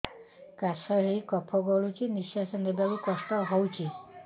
କାଶ ହେଇ କଫ ଗଳୁଛି ନିଶ୍ୱାସ ନେବାକୁ କଷ୍ଟ ହଉଛି